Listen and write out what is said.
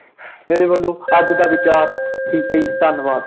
ਮੇਰੇ ਵੱਲੋਂ ਅੱਜ ਦਾ ਵਿਚਾਰ ਠੀਕ ਹੈ ਜੀ ਧੰਨਵਾਦ।